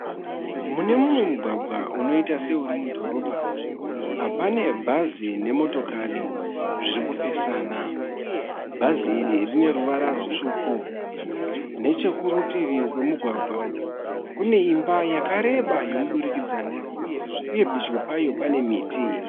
Mune mumwe mugwagwa unoita seuri mudhorobha pane bhazi nemotokari zviri kupesana. Bhanzi iri rine ruvara rutsvuku. Nechekurutivi kwemugwagwa kune imba yakareba yomudurikidzanwa uye pedyo payo pane miti.